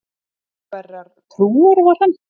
Hverrar trúar var hann?